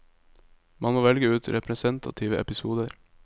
Man må velge ut representative episoder.